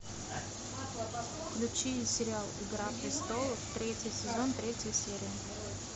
включи сериал игра престолов третий сезон третья серия